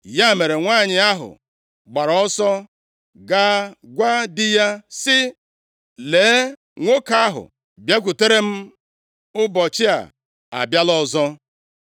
Ya mere, nwanyị ahụ gbara ọsọ gaa gwa di ya sị, “Lee, nwoke ahụ bịakwutere m ụbọchị a, abịala ọzọ!”